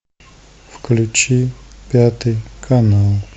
включи пятый канал